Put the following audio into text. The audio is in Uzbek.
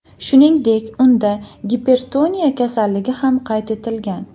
Shuningdek, unda gipertoniya kasalligi ham qayd etilgan.